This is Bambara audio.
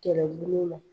Kɛlɛbolo la